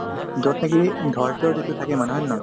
যত নেকি ধৈৰ্য্য যিটো থাকে মানে হয় নে নহয়